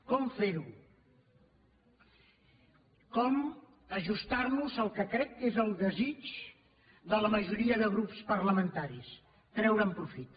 com fer ho com ajustar nos al que crec que és el desig de la majoria de grups parlamentaris treure’n profit